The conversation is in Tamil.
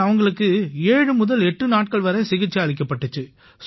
இங்க அவங்களுக்கு 78 நாட்கள் வரை சிகிச்சை அளிக்கப்பட்டிச்சு